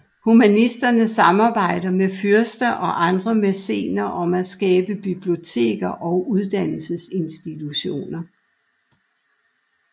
Humanisterne samarbejdede med fyrster og andre mæcener om at skabe biblioteker og uddannelsesinstitutioner